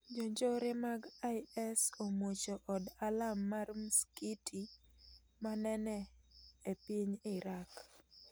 Jonjore mag IS omuocho od alam mar msikiti ma nene epiny Iraq